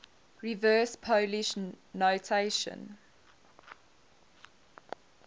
reverse polish notation